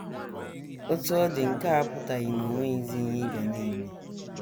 Otú ọ dị, nke a apụtaghị na o nweghịzi ihe ị ga na - eme.